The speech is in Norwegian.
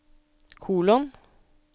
kolon